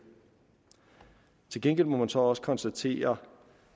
til gengæld må man så også konstatere